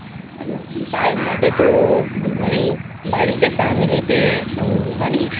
তার মধ্যে তো মানে বাড়িতে family তে মানে